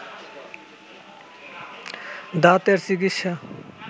দাঁতের চিকিৎসা